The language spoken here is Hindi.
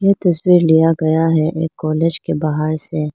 तस्वीर लिया गया है एक कॉलेज के बाहर से --